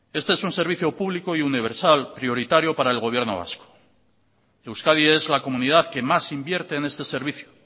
este es un servicio público y universal prioritario para el gobierno vasco euskadi es la comunidad que más invierte en este servicio